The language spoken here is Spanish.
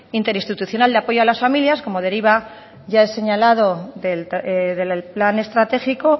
interinstitucional de apoyo a las familias como deriva ya el señalado del plan estratégico